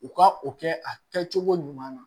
U ka o kɛ a kɛcogo ɲuman na